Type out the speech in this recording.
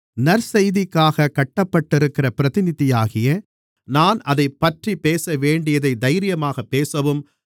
நற்செய்திக்காகக் கட்டப்பட்டிருக்கிற பிரதிநிதியாகிய நான் அதைப்பற்றிப் பேசவேண்டியதைத் தைரியமாகப் பேசவும்